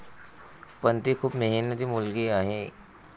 पण, ती खूप मेहनती मुलगी आहे.